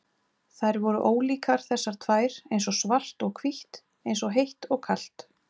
Þær voru ólíkar þessar tvær, eins og svart og hvítt, eins og heitt og kalt.